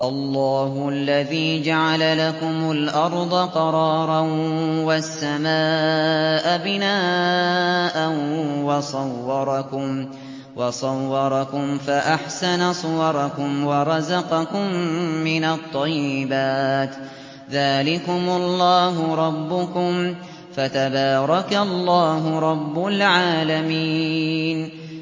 اللَّهُ الَّذِي جَعَلَ لَكُمُ الْأَرْضَ قَرَارًا وَالسَّمَاءَ بِنَاءً وَصَوَّرَكُمْ فَأَحْسَنَ صُوَرَكُمْ وَرَزَقَكُم مِّنَ الطَّيِّبَاتِ ۚ ذَٰلِكُمُ اللَّهُ رَبُّكُمْ ۖ فَتَبَارَكَ اللَّهُ رَبُّ الْعَالَمِينَ